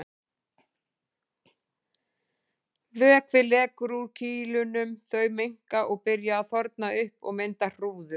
Vökvi lekur úr kýlunum, þau minnka og byrja að þorna upp og mynda hrúður.